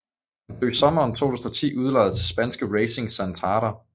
Han blev i sommeren 2010 udlejet til spanske Racing Santander